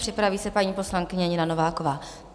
Připraví se paní poslankyně Nina Nováková.